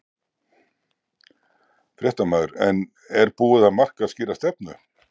Fréttamaður: En er búið að marka skýra stefnu?